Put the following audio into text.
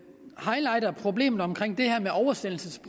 highlighter problemet med oversættelse